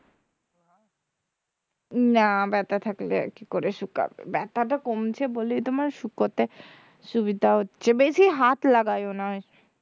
না ব্যাথা থাকলে আর কি করে শুকাবে ব্যাথাটা কমছে বলেই তোমার শুকোতে সুবিধা হচ্ছে বেশি হাত লাগাইয়ো না